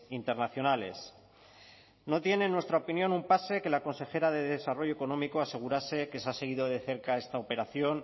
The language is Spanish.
internacionales no tiene en nuestra opinión un pase que la consejera de desarrollo económico asegurarse que se ha seguido de cerca esta operación